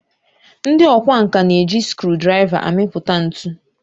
ndị ọkwá nkà na-eji scruudraiva amipụta ntu